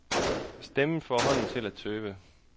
Stemmen får hånden til at tøve.